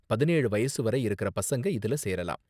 பதினேழு வயசு வரை இருக்கற பசங்க இதுல சேரலாம்.